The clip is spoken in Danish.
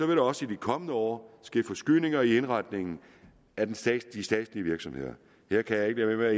der også i de kommende år ske forskydninger i indretningen af de statslige statslige virksomheder her kan jeg ikke lade være